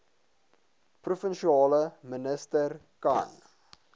provinsiale minister kan